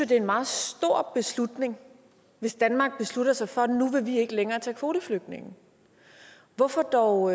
det er en meget stor beslutning hvis danmark beslutter sig for at nu vil vi ikke længere tage kvoteflygtninge hvorfor dog